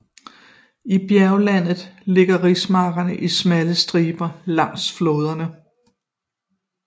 I bjerglandet ligger rismarkerne i smalle striber langs floderne